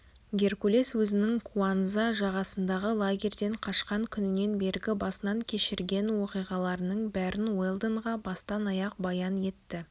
геркулес өзінің куанза жағасындағы лагерден қашқан күнінен бергі басынан кешірген оқиғаларының бәрін уэлдонға бастан-аяқ баян етті